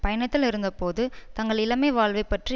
பயணத்திலிருந்தபோது தங்கள் இளமை வாழ்வை பற்றி